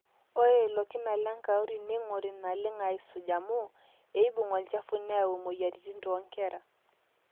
ore ilo kina lenkauri neing'ori naleng aaisuj amu eibung olchafu neyau imweyiaritin toonkera